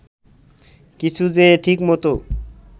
কিছু যে ঠিকমতো